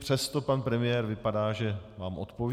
Přesto pan premiér vypadá, že vám odpoví.